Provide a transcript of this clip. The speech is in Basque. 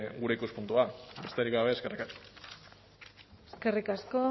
gure ikuspuntua besterik gabe eskerrik asko eskerrik asko